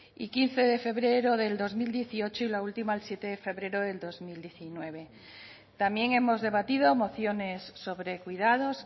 y quince de febrero del dos mil dieciocho y la última el siete de febrero del dos mil diecinueve también hemos debatido mociones sobre cuidados